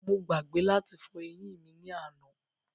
Mo gbàgbé láti fọ eyín mí ni àná